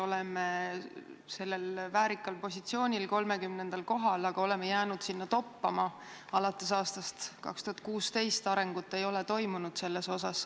Oleme väärikal positsioonil, 30. kohal, aga oleme jäänud sinna toppama, alates aastast 2016 arengut ei ole toimunud.